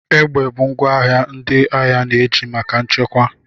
Egbe bụ ngwa agha ndị agha na-eji maka nchekwa.